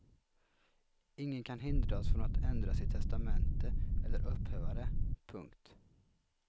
Ingen kan hindras från att ändra sitt testamente eller upphäva det. punkt